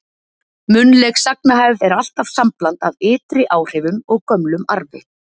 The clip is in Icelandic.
Munnleg sagnahefð er alltaf sambland af ytri áhrifum og gömlum arfi.